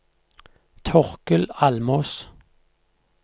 Torkel Almås